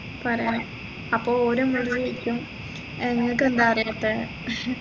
പറയണ അപ്പൊ ഓര് നമ്മളോട് ചോദിക്കും ഏർ ഇങ്ങകെന്താ അറിയാതെ